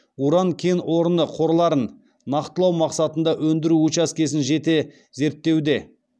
уран кен орны қорларын нақтылау мақсатында өндіру учаскесін жете зерттеуде